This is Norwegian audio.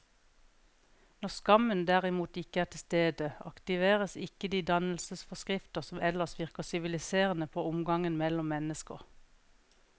Når skammen derimot ikke er til stede, aktiveres ikke de dannelsesforskrifter som ellers virker siviliserende på omgangen mellom mennesker.